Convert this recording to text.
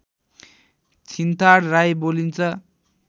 छिन्ताड राई बोलिन्छ